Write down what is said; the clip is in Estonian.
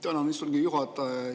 Tänan, istungi juhataja!